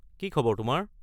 কি খবৰ তোমাৰ?